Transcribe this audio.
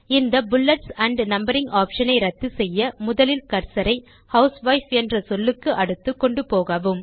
இந்த bullets and numbering option ஐ ரத்துசெய்ய முதலில் கர்சரை ஹவுஸ்வைஃப் என்ற சொல்லுக்கு அடுத்து கொண்டுபோகவும்